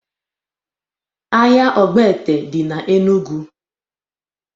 Ahia ọgbete dị na Enụgwụ